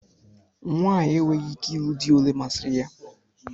Nwaanyị enweghị ikike ịlụ di olé masiri ya